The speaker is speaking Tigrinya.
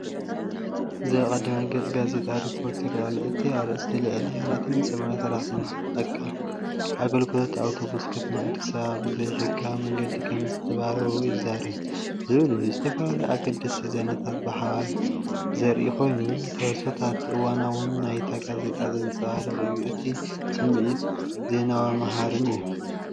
እዚ ኣብ ቀዳማይ ገጽ ጋዜጣ ሪፖርተር ይረአ ኣሎ። እቲ ኣርእስቲ"ልዕሊ 480 ሰራሕተኛታት ትካል ኣገልግሎት ኣውቶቡስ ከተማ ኣዲስ ኣበባ ብዘይሕጋዊ መንገዲ ከምዝተባረሩ ይዛረቡ"ዝብል እዩ። ዝተፈላለዩ ኣገደስቲ ዜናታት ብሓባር ዘርኢኮይኑ፡ንትሕዝቶን እዋናውነትን ናይታ ጋዜጣ ዘንጸባርቕ እዩ። እቲ ስምዒት ዜናዊን መሃርን እዩ።